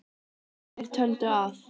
Sumir töldu að